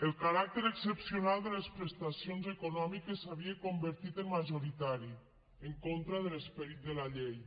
el caràcter excepcional de les prestacions econòmiques s’havia convertit en majoritari en contra de l’esperit de la llei